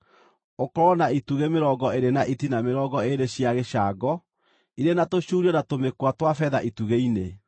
ũkorwo na itugĩ mĩrongo ĩĩrĩ na itina mĩrongo ĩĩrĩ cia gĩcango, irĩ na tũcuurio na tũmĩkwa twa betha itugĩ-inĩ.